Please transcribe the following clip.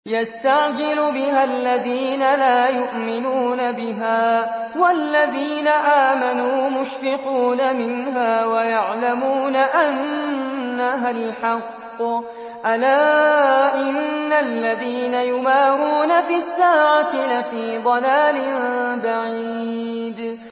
يَسْتَعْجِلُ بِهَا الَّذِينَ لَا يُؤْمِنُونَ بِهَا ۖ وَالَّذِينَ آمَنُوا مُشْفِقُونَ مِنْهَا وَيَعْلَمُونَ أَنَّهَا الْحَقُّ ۗ أَلَا إِنَّ الَّذِينَ يُمَارُونَ فِي السَّاعَةِ لَفِي ضَلَالٍ بَعِيدٍ